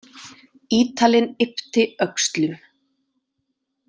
Ítalinn yppti öxlum.